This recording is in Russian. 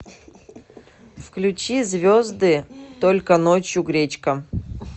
включи звезды только ночью гречка